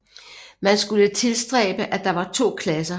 Man skulle tilstræbe at der var to klasser